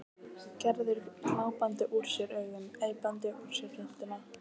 Gerður glápandi úr sér augun, æpandi úr sér röddina.